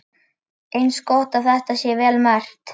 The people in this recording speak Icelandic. Eins gott að þetta sé vel merkt.